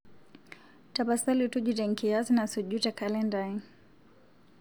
tapasali tujuto enkiyias nasuuju tee kalenda ai